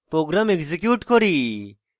program execute করি